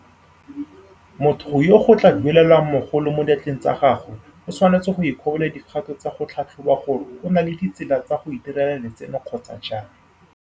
Motho yo go tla duelelwang mogolo mo diatleng tsa gagwe o tshwanetse go ikobela dikgato tsa go tlhatlhoba gore o na le ditsela tsa go itirela letseno kgotsa jang.